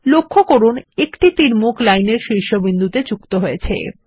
লক্ষ্য করুন একটি তীরমুখ লাইন এর শীর্ষ বিন্দুতে যুক্ত হয়েছে